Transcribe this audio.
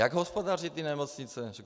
Jak hospodaří ty nemocnice?